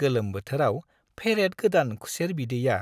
गोलोम बोथोराव फेरेद-गोदान खुसेर बिदैया